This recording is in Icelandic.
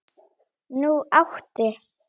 Nú átti